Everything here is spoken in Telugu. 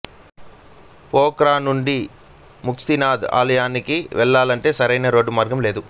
పోక్రానుండి ముక్తినాధ్ ఆలయానికి వెళ్లాలంటే సరైన రోడ్డు మార్గం లేదు